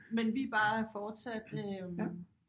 Men vi er bare fortsat øh